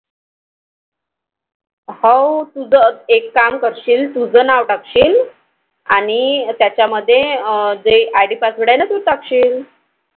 हवं तुझं एक काम करशील तुझं नाव टाकशील आणि त्याच्या मध्ये जे IDPassword आहे ना ते टाकशील.